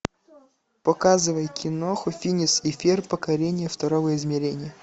показывай киноху финес и ферб покорение второго измерения